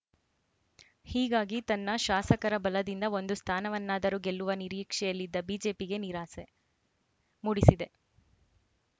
ಹೀಗಾಗಿ ತನ್ನ ಶಾಸಕರ ಬಲದಿಂದ ಒಂದು ಸ್ಥಾನವನ್ನಾದರೂ ಗೆಲ್ಲುವ ನಿರೀಕ್ಷೆಯಲ್ಲಿದ್ದ ಬಿಜೆಪಿಗೆ ನಿರಾಸೆ ಮೂಡಿಸಿದೆ